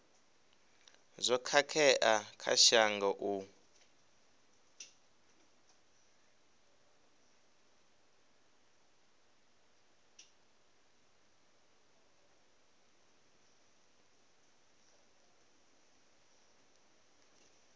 zwo khakhea kha shango u